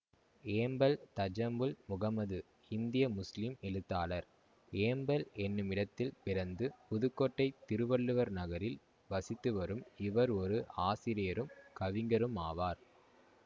ஏம்பல் தஜம்முல் முகம்மது இந்திய முஸ்லிம் எழுத்தாளர் ஏம்பல் எனுமிடத்தில் பிறந்து புதுக்கோட்டை திருவள்ளுவர் நகரில் வசித்துவரும் இவர் ஒரு ஆசிரியரும் கவிஞருமாவார்